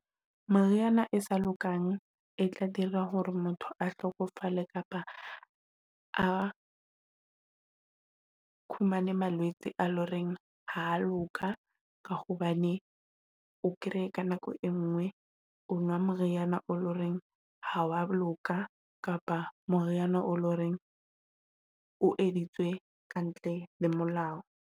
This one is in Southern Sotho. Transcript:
Moriana e sa lokang e tla dira hore motho a hlokofale kapa a fumane malwetse a loreng ha loka. Ka ho hobane o kreye ka nako e nngwe o nwa moriana o leng hore ha wa loka, kapa moriana e leng hore o editswe ka ntle le molao.